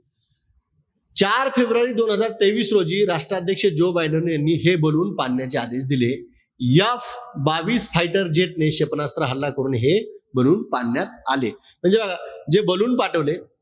चार फेब्रुवारी दोन हजार तेवीस रोजी राष्ट्राध्यक्ष जो बायडेन यांनी हे ballon पाडण्याचे आदेश दिले. F बावीस fighter jet ने क्षेपणास्त्र हल्ला करून हे ballon पाडण्यात आले. म्हणजे बघा, जे ballon पाठवले,